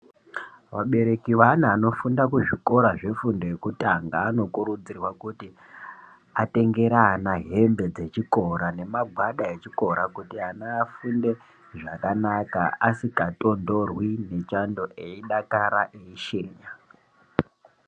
Vabereki veana anofunda kuzvikora zvefundo yekutanga anokurudzirwa kuti atengera ana hembe dzechikora nemagwada echikora kuti ana afunde zvakanaka asikatondorwi nechando eidakara eshe.